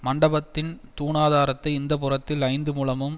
மண்டபத்தின் தூணாதாரத்தை இந்தப்புறத்தில் ஐந்து முழமும்